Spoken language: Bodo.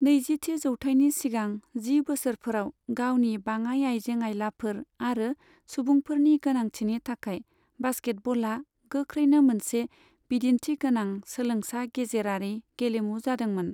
नैजिथि जौथायनि सिगां जि बोसोरफोराव, गावनि बाङाय आयजें आयलाफोर आरो सुबुंफोरनि गोनांथिनि थाखाय बास्केटबला गोख्रैनो मोनसे बिदिनथि गोनां सोलोंसा गेजेरारि गेलेमु जादोंमोन।